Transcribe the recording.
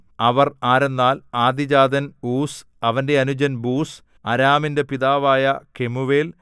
അവർ ആരെന്നാൽ ആദ്യജാതൻ ഊസ് അവന്റെ അനുജൻ ബൂസ് അരാമിന്റെ പിതാവായ കെമൂവേൽ